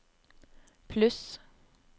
pluss